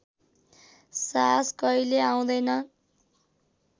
साहस कहिल्यै आउँदैन